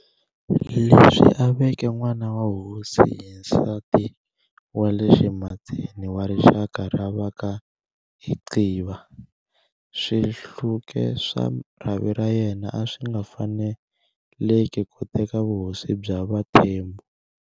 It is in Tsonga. Leswi a veke n'wana wa hosi hi nsati wa le ximatsini wa rixaka ra vaka Ixhiba, Swi hluke swa rhavi ra yena a swi nga faneleki ku teka vuhosi bya vaThembu.